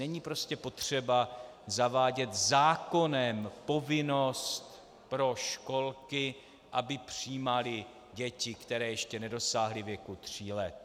Není prostě potřeba zavádět zákonem povinnost pro školky, aby přijímaly děti, které ještě nedosáhly věku tří let.